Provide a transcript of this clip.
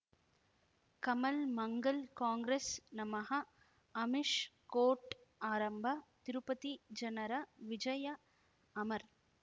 ಕಮಲ್ ಮಂಗಳ್ ಕಾಂಗ್ರೆಸ್ ನಮಃ ಅಮಿಷ್ ಕೋರ್ಟ್ ಆರಂಭ ತಿರುಪತಿ ಜನರ ವಿಜಯ ಅಮರ್